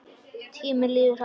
Tíminn líður hratt.